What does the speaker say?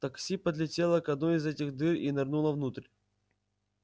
такси подлетело к одной из этих дыр и нырнуло внутрь